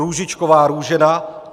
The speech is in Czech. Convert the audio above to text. Růžičková Růžena